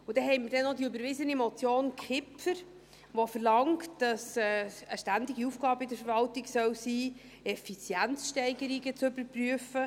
Dann haben wir noch die überwiesene Motion Kipfer welche verlangt, dass es in der Verwaltung eine ständige Aufgabe sein soll, Effizienzsteigerungen zu überprüfen.